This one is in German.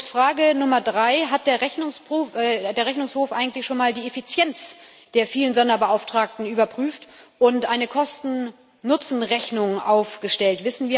Frage Nummer drei Hat der Rechnungshof eigentlich schon einmal die Effizienz der vielen Sonderbeauftragten überprüft und eine Kosten Nutzen Rechnung aufgestellt?